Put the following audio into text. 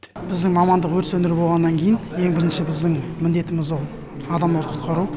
біздің мамандық өрт сөндіру болғаннан кейін ең бірінші біздің міндетіміз ол адамдарды құтқару